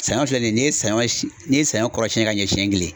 Saɲɔn filɛ nin ye n'i ye saɲɔ si n'i ye saɲɔ kɔrɔ siɲɛ ka ɲɛ siɲɛ kile